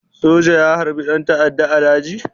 Soja ya harbi ɗan ta'adda a daji?